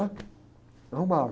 arrumava.